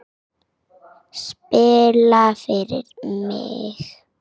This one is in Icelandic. Spila fyrir mig?